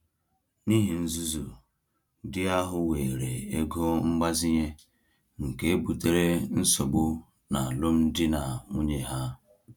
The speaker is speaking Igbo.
N’ihe nzuzo, di ahụ weere ego mgbazinye, nke butere nsogbu n’alụmdi na nwunye ha.